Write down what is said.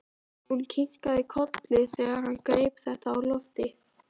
Hún kinkaði kolli þegar hann greip þetta á lofti.